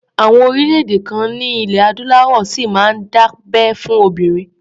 Àwọn orílẹ̀-èdè kan ní ilẹ̀ Adúláwọ̀ ṣì máa ń dábẹ́ fún obìnrin.